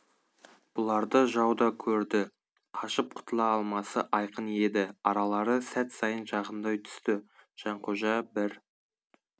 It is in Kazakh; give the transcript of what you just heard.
бұларды жау да көрді қашып құтыла алмасы айқын еді аралары сәт сайын жақындай түсті жанқожа бір